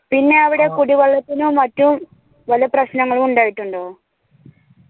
പിന്നെ അവിടെ കുടിവെള്ളത്തിനും മറ്റും വല്ല പ്രശ്നങ്ങളും ഉണ്ടായിട്ടുണ്ടോ